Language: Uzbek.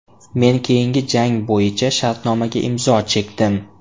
Men keyingi jang bo‘yicha shartnomaga imzo chekdim.